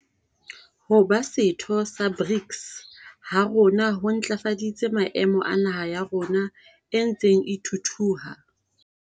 Ho ba setho sa BRICS ha rona ho ntlafaditse maemo a naha ya rona e ntseng e thuthuha.